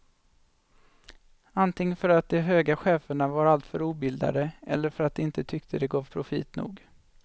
Antingen för att de höga cheferna var alltför obildade eller för att de inte tyckte det gav profit nog.